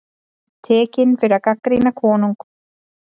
Tekinn fyrir að gagnrýna konung